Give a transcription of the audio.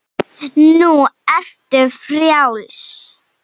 Nú ertu frjáls.